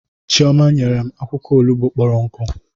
Chioma nyere m akwụkwọ olugbu kpọrọ nkụ